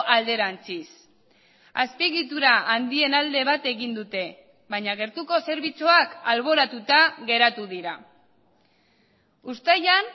alderantziz azpiegitura handien alde bat egin dute baina gertuko zerbitzuak alboratuta geratu dira uztailan